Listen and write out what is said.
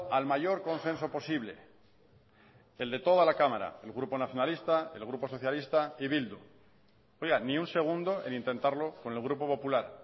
al mayor consenso posible el de toda la cámara el grupo nacionalista el grupo socialista y bildu oiga ni un segundo el intentarlo con el grupo popular